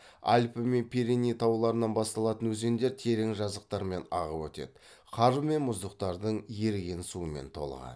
альпі мен пиреней тауларынан басталатын өзендер терең жазықтармен ағып өтеді қар мен мұздықтардың еріген суымен толығады